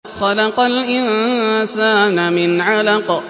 خَلَقَ الْإِنسَانَ مِنْ عَلَقٍ